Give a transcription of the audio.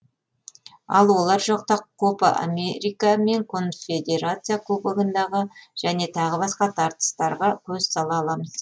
ал олар жоқта копа америка мен конфедерация кубогындағы және тағы басқа тартыстарға көз сала аламыз